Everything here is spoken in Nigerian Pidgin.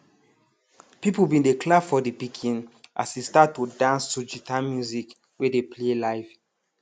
people bin dey clap for de pikin as e start to dance to guitar music wey dey play live